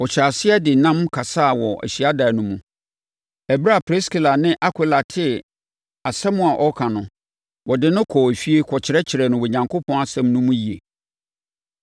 Ɔhyɛɛ aseɛ de nnam kasaa wɔ hyiadan no mu. Ɛberɛ a Priskila ne Akwila tee asɛm a ɔreka no, wɔde no kɔɔ efie kɔkyerɛkyerɛɛ no Onyankopɔn asɛm no mu yie.